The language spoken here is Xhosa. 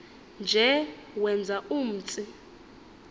nje wenza umtsi